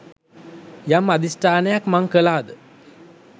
යම් අධිෂ්ඨානයක් මං කළාද